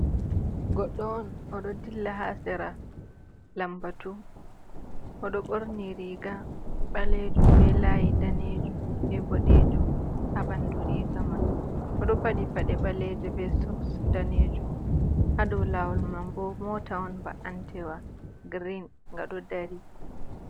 Goɗɗo on, o ɗo dilla haa sera lambatu. O ɗo ɓorni riga ɓalejum be layi danejum, be boɗejum haa ɓandu riga man. O ɗo paɗi paɗe ɓalejo be soks danejum, haa dou lawol man bo mota on mba'antewa green nga ɗo dari.